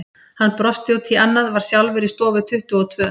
Hann brosti út í annað, var sjálfur í stofu tuttugu og tvö.